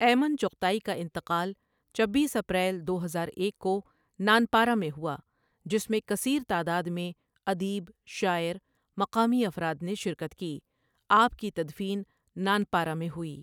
ایمن ؔچغتائی کا انتقال چبیس اپریل دو ہزار ایک کو نانپارہ میں ہوا جس میں کثیر تعداد میں ادیب، شاعر ،مقامی افراد نے شرکت کی آپ کی تدفین نانپارہ میں ہوئی ۔